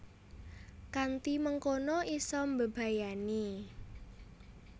Kanthi mengkono isa mbebayani